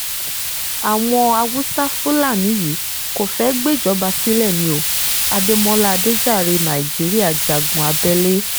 àwọn haúsá-fúlani yìí kò fẹ́ẹ́ gbéjọba sílẹ̀ ní o adémọlá adéjàre nàíjíríà jagun abẹ́lé